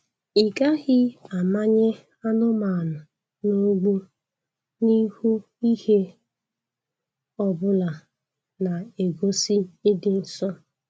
Ị gaghị amanye anụmanụ n'ụgbụ n'ihu ihe ọbụla na-egosi ịdị nsọ